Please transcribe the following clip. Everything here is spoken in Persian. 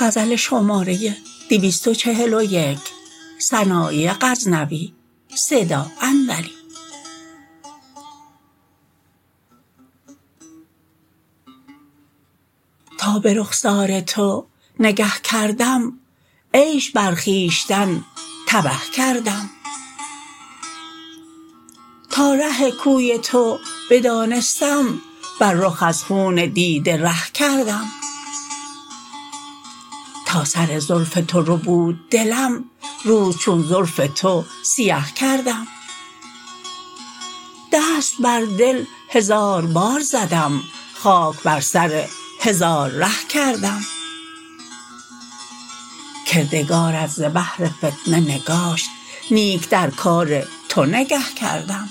تا به رخسار تو نگه کردم عیش بر خویشتن تبه کردم تا ره کوی تو بدانستم بر رخ از خون دیده ره کردم تا سر زلف تو ربود دلم روز چون زلف تو سیه کردم دست بر دل هزار بار زدم خاک بر سر هزار ره کردم کردگارت ز بهر فتنه نگاشت نیک در کار تو نگه کردم